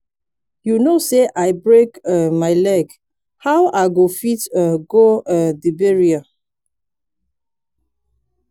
you know say i break um my leg how i go fit um go um the burial